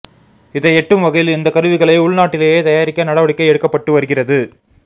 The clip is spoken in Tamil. இதை எட்டும் வகையில் இந்தக்கருவிகளை உள்நாட்டிலேயே தயாரிக்க நடவடிக்கை எடுக்கப் பட்டு வருகிறது